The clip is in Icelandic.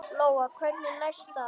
Lóa: Hvernig næst það?